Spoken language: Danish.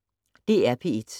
DR P1